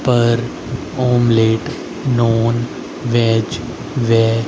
पर omelette non veg वे--